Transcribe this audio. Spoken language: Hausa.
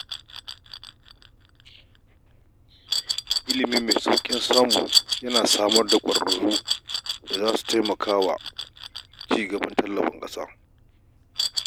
Ilimi mai sauƙin samu yana samar da ƙwararru da za su taimaka wa ci gaban ƙasa.